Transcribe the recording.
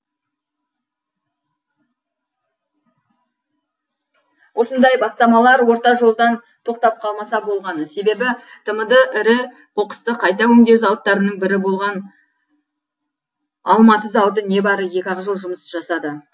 осындай бастамалар орта жолдан тоқтап қалмаса болғаны себебі тмд ірі қоқысты қайта өңдеу зауыттарының бірі болған алматы зауыты не бәрі екі ақ жыл жұмыс жасады